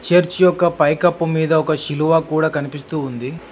Church యొక్క పైకప్పు మీద ఒక సిలువ కూడా కనిపిస్తూ ఉంది.